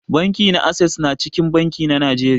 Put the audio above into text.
Banki na access na cikin banki na Najeriya.